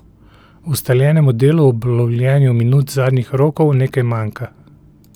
Ustaljenemu delu ob lovljenju minut zadnjih rokov nekaj manjka.